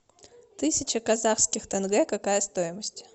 тысяча казахских тенге какая стоимость